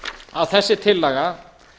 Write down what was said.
að þessi tillaga